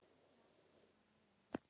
og þetta líka